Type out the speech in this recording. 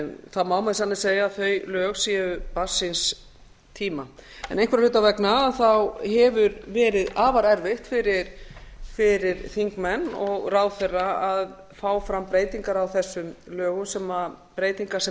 það má með sanni segja að þau lög séu barn síns tíma einhverra hluta vegna hefur verið afar erfitt fyrir þingmenn og ráðherra að fá fram breytingar á þessum lögum breytingar sem